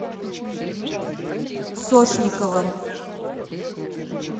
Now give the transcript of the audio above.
сошниковым